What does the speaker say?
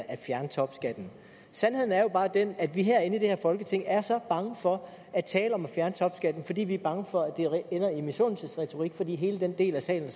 at fjerne topskatten sandheden er jo bare den at vi herinde i folketinget er så bange for at tale om at fjerne topskatten fordi vi er bange for at det ender i misundelsesretorik fordi hele den del af salen